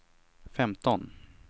femton